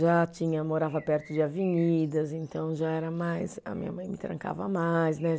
Já tinha. Morava perto de avenidas, então já era mais. A minha mãe me trancava mais, né?